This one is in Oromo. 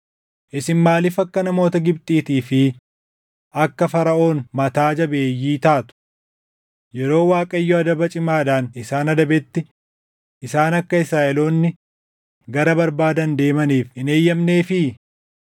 Isin maaliif akka namoota Gibxiitii fi akka Faraʼoon mataa jabeeyyii taatu? Yeroo Waaqayyo adaba cimaadhaan isaan adabetti, isaan akka Israaʼeloonni gara barbaadan deemaniif hin eeyyamneefii?